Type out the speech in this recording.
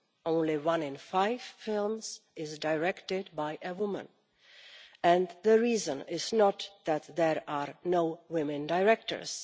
Only one in five films is directed by a woman, and the reason is not that there are no women directors.